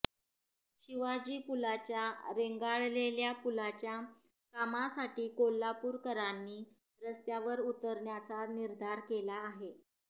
शिवाजी पुलाच्या रेंगाळलेल्या पुलाच्या कामासाठी कोल्हापूरकरांनी रस्त्यावर उतरण्याचा निर्धार केला आहे